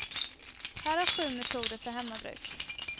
Här är sju metoder för hemmabruk.